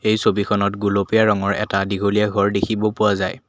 এই ছবিখনত গুলপীয়া ৰঙৰ এটা দীঘলীয়া ঘৰ দেখিব পোৱা যায়।